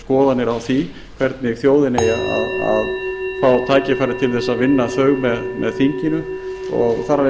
skoðanir á því hvernig þjóðin eigi að fá tækifæri til þess að vinna þau með þinginu og þar af leiðandi